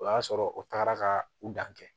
O y'a sɔrɔ o tagara ka u dan kɛ